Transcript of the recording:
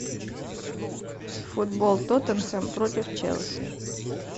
футбол тоттенхэм против челси